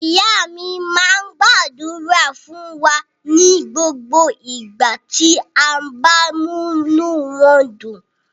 Ìyá mi máa ń gbàdúrà fún wa ní gbogbo ìgbà tí a bá múnú wọn dùn.